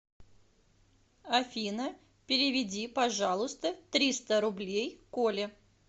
афина переведи пожалуйста триста рублей коле